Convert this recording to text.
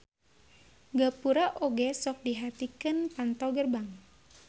Gapura oge sok dihartikeun panto gerbang.